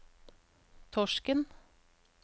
Torsken